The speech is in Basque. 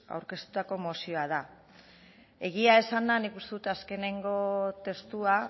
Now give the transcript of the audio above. aurkeztutako mozioa da egia esanda nik uste dut azkenengo testua